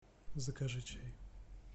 закажи чай